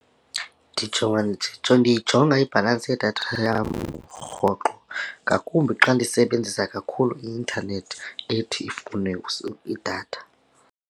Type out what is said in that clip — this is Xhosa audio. Ndijonga ndiyijonga ibhalansi yedatha yam rhoqo ngakumbi xa ndiyisebenzisa kakhulu i-intanethi ethi ifune idatha.